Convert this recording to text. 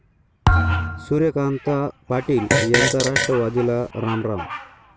सूर्यकांता पाटील यांचा राष्ट्रवादीला रामराम